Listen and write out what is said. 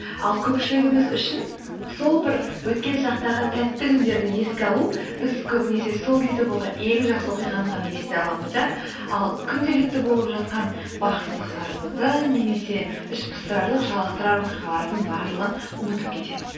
ал көпшілігіміз үшін сол бір өткен шақтағы тәтті күндерді еске алу біз көбінесе сол кезде болған ең жақсы оқиғаны ғана есте аламыз да ал күнделікті болып жатқан бақсыздықтарымызды немесе ішпыстырарлық жалықтырар оқиғалардың барлығын ұмытып кетеміз